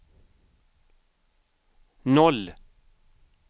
noll